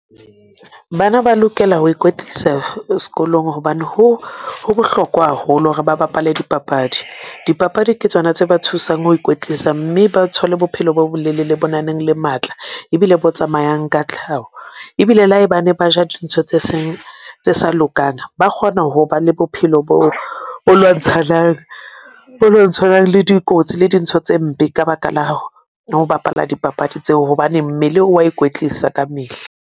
Bana ba lokela ho ikwetlisa sekolong hobane ho bohlokwa haholo hore ba bapale dipapadi. Dipapadi ke tsona tse ba thusang ho ikwetlisa mme ba thole bophelo bo bolelele, bo naneng le matla ebile bo tsamayang ka tlhaho. Ebile le hae bane ba ja dintho tse seng. tse sa lokang, ba kgona ho ba le bophelo bo o lwantshanang o lo tshwanang le dikotsi le dintho tse mpe ka baka la ho bapala dipapadi tseo, hobane mmele o a ikwetlisa kamehla.